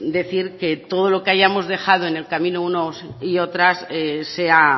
decir que todo lo que hayamos dejado en el camino unos y otras sea